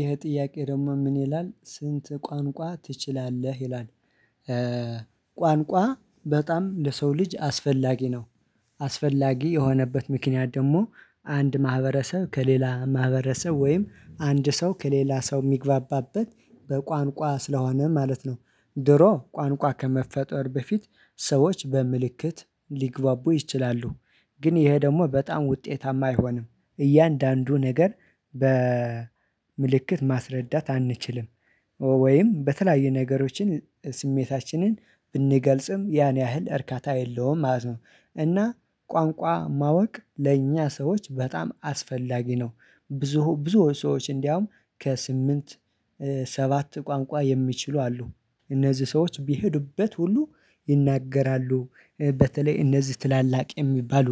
ይሄ ጥያቄ ደግሞ ምን ይላል ስንት ቋንቋ ትችላለህ ይላል? ቋንቋ በጣም ለሰው ልጅ አስፈላጊ ነው። አስፈላጊ የሆነበት ምክንያት ደግሞ አንድ ማህበረሰብ ከሌላ ማህበረሰብ ወይም አንድ ሰው ከሌላ ሰው የሚግባባበት በቋንቋ ስለሆነ ማለት ነው። ድሮ ቋንቋ ከመፈጠር በፊት ሰዎች በምልክት ሊግባቡ ይችላሉ። ግን ይሄ ደግሞ በጣም ውጤታማ አይሆንም እያንዳንዱ ነገር በምልክት ማስረዳት አንችልም። ወይም በተለያዩ ነገሮችን ስሜታችንን ብንገልጽም ያን ያህል እርካታ የለውም ማለት ነው። እና ቋንቋ ማወቅ ለእኛ ሰዎች በጣም አስፈላጊ ነው። ብዙ ብዙ ሰዎች እንዲያውም ከስምንት ሰባት ቋንቋ የሚችሉ አሉ። እነዚህ ሰዎች ቢሄዱበት ሁሉ ይናገራሉ። በተለይ እነዚህ ትላላቅ የሚባሉ